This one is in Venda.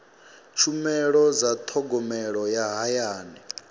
tshumelo dza thogomelo ya hayani